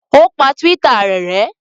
O pa Twitter rẹ̀ rẹ́?